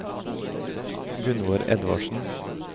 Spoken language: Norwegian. Gunnvor Edvardsen